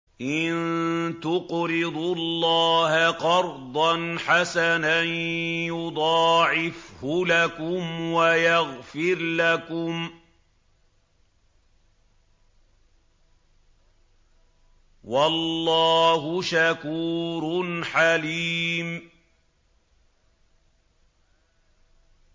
إِن تُقْرِضُوا اللَّهَ قَرْضًا حَسَنًا يُضَاعِفْهُ لَكُمْ وَيَغْفِرْ لَكُمْ ۚ وَاللَّهُ شَكُورٌ حَلِيمٌ